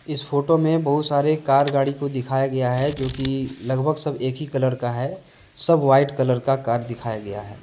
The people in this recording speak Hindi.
इस फोटो में बहुत सारे कार गाड़ी को दिखाया गया है जो कि लगभग सब एक ही कलर का है सब व्हाइट कलर का कार दिखाया गया है।